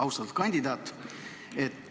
Austatud kandidaat!